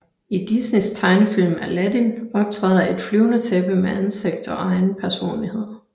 I Disneys tegnefilm Aladdin optræder et flyvende tæppe med ansigt og egen personlighed